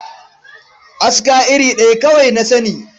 Aska iri ɗaya kawai na sani.